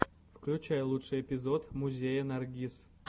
включай лучший эпизод музея наргиз